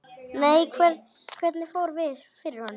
Nei, hvernig fór fyrir honum?